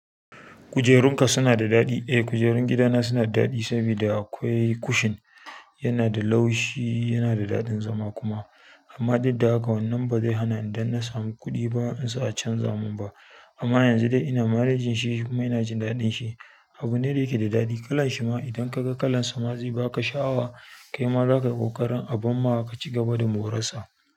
Kujerunka suna da daɗi? Eh kujerun gidana suna da daɗi saboda akwai cushion yana da laushi, yana da daɗin zama kuma. Amma didda haka wannan ba zai hana idan na samu kuɗi ba in sa a canza mun ba. Amma yanzu dai ina malejin shi kuma ina jin daɗin shi, abune da yake da daɗi. Kala shi ma idan ka ga kalan sa ma zai baka sha'awa, kai ma za ka yi ƙoƙarin a ban ma ka ci gaba da moransa.